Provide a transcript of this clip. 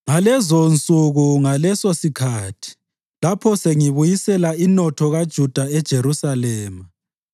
“Ngalezonsuku langalesosikhathi, lapho sengibuyisela inotho kaJuda leJerusalema,